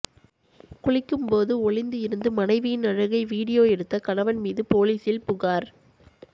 குளிக்கும் போது ஒளிந்து இருந்து மனைவியின் அழகை வீடியோ எடுத்த கணவன் மீது போலீசில் புகார்